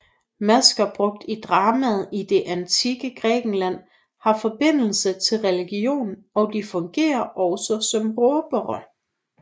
Masker brugt i dramaet i det antikke Grækenland har forbindelse til religion og de fungerer også som råbere